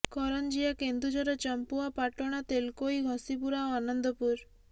କରଞ୍ଜିଆ କେନ୍ଦୁଝର ଚମ୍ପୁଆ ପାଟଣା ତେଲକୋଇ ଘସିପୁରା ଓ ଆନନ୍ଦପୁର